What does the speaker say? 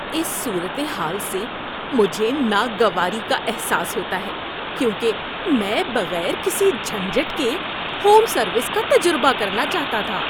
اس صورت حال سے مجھے ناگواری کا احساس ہوتا ہے کیونکہ میں بغیر کسی جھنجھٹ کے ہوم سروس کا تجربہ کرنا چاہتا تھا۔